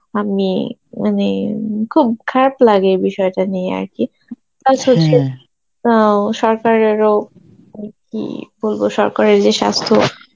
আমি মানে উম খুব খারাপ লাগে এই বিষয়টা নিয়ে আর কি অ্যাঁ সরকারেরও, আর কি বলবো সরকারের যে স্বাস্থ্য